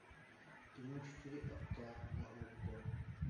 кино четыре к на окко